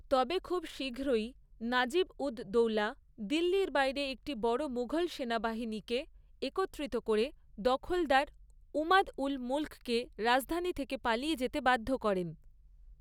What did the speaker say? তবে খুব শীঘ্রই, নাজিব উদ দৌলা দিল্লির বাইরে একটি বড় মুঘল সেনাবাহিনীকে একত্রিত করে দখলদার ইমাদ উল মুল্ককে রাজধানী থেকে পালিয়ে যেতে বাধ্য করেন।